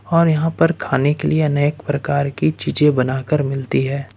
और यहां पर खाने के लिए अनेक प्रकार की चीजें बना कर मिलती है।